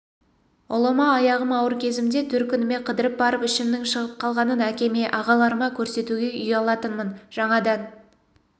ұлыма аяғым ауыр кезімде төркініме қыдырып барып ішімнің шығып қалғанын әкеме ағаларыма көрсетуге ұялатынмын жаңадан